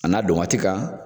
A n'a don waati kan.